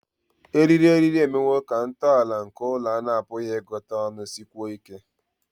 eriri eriri emewo ka ntọala nke ụlọ a na-apụghị ịgụta ọnụ sikwuo ike